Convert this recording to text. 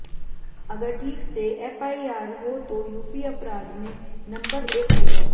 अगर ठीक से एफ़आईआर हो तो यूपी अपराध में नम्बर एक होगा